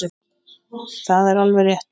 Það er alveg rétt.